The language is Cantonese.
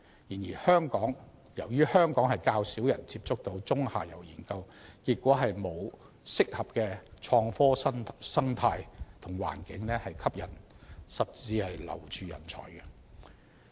然而，由於香港較少人接觸中下游研究，結果沒有合適的創科生態和環境吸引甚至留住人才。